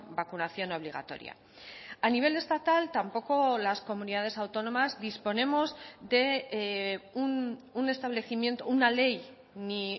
vacunación obligatoria a nivel estatal tampoco las comunidades autónomas disponemos de un establecimiento una ley ni